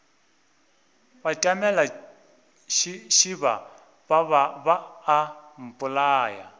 batamela šeba ba a mpolaya